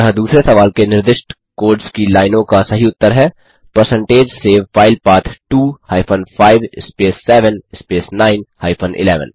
अतः दूसरे सवाल के निर्दिष्ट कोड्स की लाइनों का सही उत्तर है परसेंटेज सेव फाइल पथ 2 हाइफेन 5 स्पेस 7 स्पेस 9 हाइफेन 11